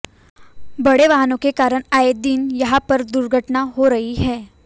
बड़े वाहनों के कारण आए दिन यहां पर दुर्घटनाएं हो रही हैं